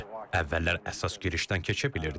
Əvvəllər əsas girişdən keçə bilirdik.